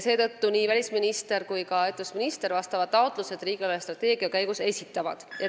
Seetõttu esitavad nii välisminister kui ka ettevõtlusminister riigi eelarvestrateegia käigus vastavad taotlused.